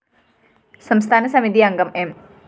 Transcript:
സംസ്ഥാന സമിതി അംഗം എം